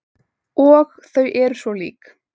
Og þau eru svo lík.